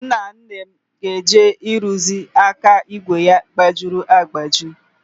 Nnanne m ga-eje ịrụzi aka ígwè ya gbajiri agbaji.